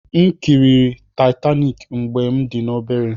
M kiri Taitaniki mgbe m dị obere.